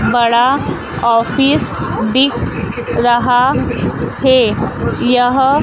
बड़ा ऑफिस दिख रहा है यह--